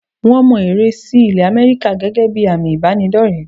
Wọ́n mọ ère sí ilẹ̀ Àmẹ́ríkà gẹ́gẹ́ bí àmì ìbánidọ́rẹ̀ẹ́.